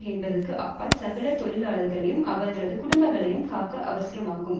என்பதற்கு அப்பால் சகல தொழிலாளர்களையும் அவர்களது குடும்பங்களையும் காக்க அவசியமாகும்